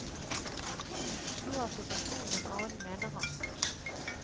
Nå er situasjonen en annen, mener han.